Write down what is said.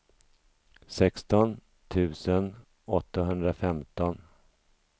sexton tusen åttahundrafemton